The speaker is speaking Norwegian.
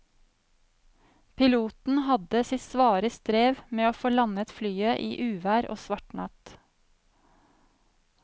Piloten hadde sitt svare strev med å få landet flyet i uvær og svart natt.